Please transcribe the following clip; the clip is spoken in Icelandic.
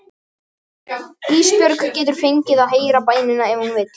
Ísbjörg getur fengið að heyra bænina ef hún vill.